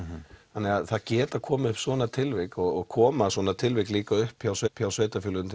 það geta komið upp svona tilvik og koma svona tilvik líka upp hjá upp hjá sveitafélögum